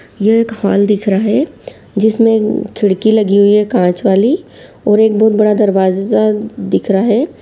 यह एक हॉल दिख रहा है जिसमे खिड़की लगी हुई है कांच वाली और एक बहुत बड़ा दरवाज़ा दिख रहा है।